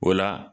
O la